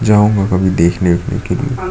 जाऊंगा कभी देखने वेखने के लिए --